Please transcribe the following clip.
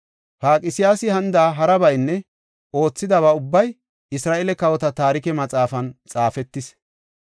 Paqsiyaasi hanida harabaynne oothidaba ubbay Isra7eele Kawota Taarike Maxaafan xaafetis.